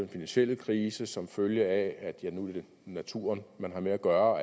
finansielle krise som følge af at det er naturen man har med at gøre